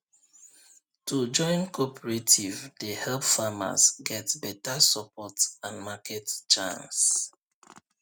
to join cooperative dey help farmers get beta support and market chance